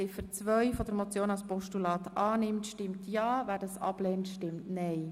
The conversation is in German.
Wer Ziffer 2 als Postulat annimmt, stimmt ja, wer das ablehnt, stimmt nein.